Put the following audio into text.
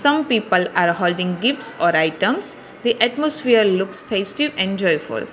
Some people are holding gifts or items the atmosphere looks festive enjoy for.